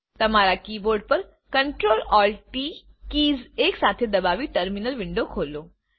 તમારા કીબોર્ડ ઉપર ctrlaltt keys એકસાથે દબાવી ટર્મિનલ વિન્ડો ખોલો